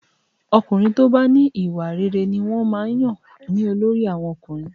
Ọkùnrin tó bá ní ìwà rere ni wọ́n máa ń yàn ní olórí àwọn ọkùnrin